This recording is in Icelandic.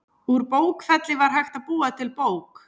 Úr bókfelli var hægt að búa til bók.